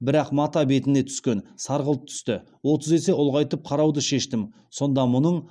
бірақ мата бетіне түскен сарғылт түсті отыз есе ұлғайтып қарауды шештім сонда мұның